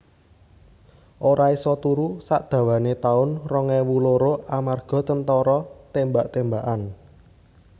Ora iso turu sak dawane taun rong ewu loro amarga tentara tembak tembakan